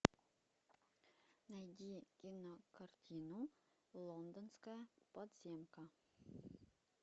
найди кинокартину лондонская подземка